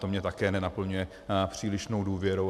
To mě také nenaplňuje přílišnou důvěrou.